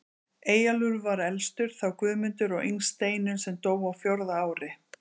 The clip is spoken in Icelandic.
Eyjólfur var elstur, þá Guðmundur og yngst Steinunn sem dó á fjórða ári.